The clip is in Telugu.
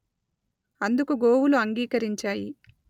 అందుకు గోవులు అంగీకరించాయి